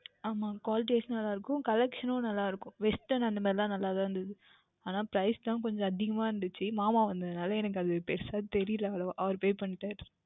ஆமாம் Quality Wise நன்றாக இருக்கும் Collection னும் நன்றாக இருக்கும் Western அந்த மாதிரி எல்லாம் நன்றாக இருந்தது ஆனால் Price தான் கொஞ்சம் அதிகமாக இருந்தது அது மாமா வந்ததால் எனக்கு பெரியதாக தெரியவில்லை அவ்வளவுவாக அவர் Pay பண்ணிவிட்டார்